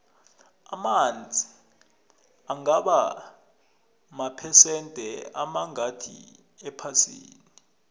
amanzi angaba maphesende amangakhi ephasini